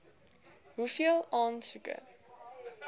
hoeveel aansoeke